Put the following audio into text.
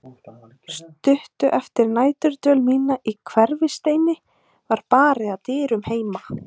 Stuttu eftir næturdvöl mína í Hverfisteini var barið að dyrum heima.